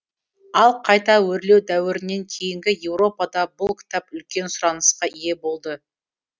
ал қайта өрлеу дәуірінен кейінгі еуропада бұл кітап үлкен сұранысқа ие болды